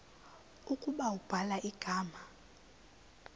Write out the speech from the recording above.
ukuba ubhala igama